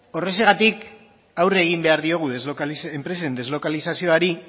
horregatik aurre egin behar diogu enpresen deslokalizazioari